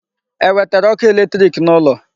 E wetere ọkụ electric n'ụlọ?